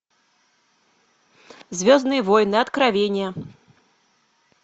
звездные войны откровения